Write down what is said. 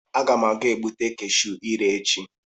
Aga m ga-egbute cashu ire echi.